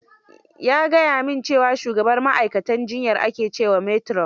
Ya gaya min cewa shugabar ma'aikatan jiyyar ake cewa matron.